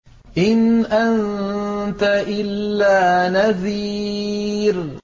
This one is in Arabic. إِنْ أَنتَ إِلَّا نَذِيرٌ